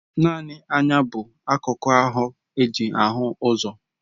Naanị anya bụ akụku ahụ eji ahụ ụzọ.